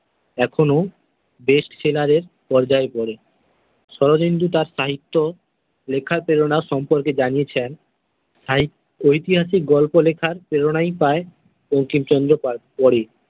এখনও best seller এর পর্যায়ে পরে। শরদিন্দু তার সাহিত্য লেখার প্রেরণার সম্পর্কে জানিয়েছেন সাহি ঐতিহাসিক গল্প লেখার প্রেরণায় পায় বঙ্কিমচন্দ্র পরে।